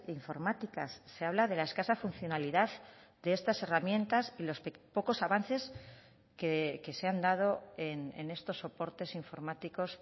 informáticas se habla de la escasa funcionalidad de estas herramientas y los pocos avances que se han dado en estos soportes informáticos